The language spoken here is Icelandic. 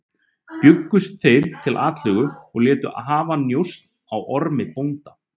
Bjuggust þeir til atlögu og létu hafa njósn á Ormi bónda.